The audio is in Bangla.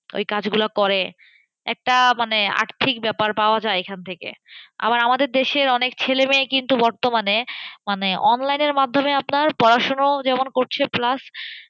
ওই কাজগুলো করে একটা মানে, আর্থিক ব্যাপার পাওয়া যায় এখান থেকে। আবার আমাদের দেশের অনেক ছেলে মেয়ে কিন্তু বর্তমানে, মানে online এর মাধ্যমে আপনার পড়াশুনোও যেমন করছে plus